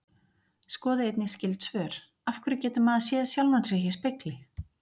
Skoðið einnig skyld svör: Af hverju getur maður séð sjálfan sig í spegli?